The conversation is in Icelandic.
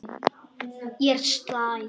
Ég er slæg.